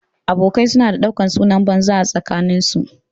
Abokai su na ɗaukan sunan banza a tsakanin su